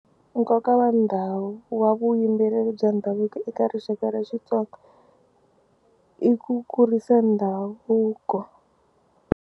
Nkoka wa ndhawu wa vuyimbeleri bya ndhavuko eka rixaka ra Xitsonga i ku kurisa ndhavuko.